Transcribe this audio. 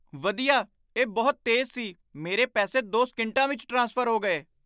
ਵਧੀਆ ਇਹ ਬਹੁਤ ਤੇਜ਼ ਸੀ ਮੇਰੇ ਪੈਸੇ ਦੋ ਸਕਿੰਟਾਂ ਵਿੱਚ ਟਰਾਂਸਫਰ ਹੋ ਗਏ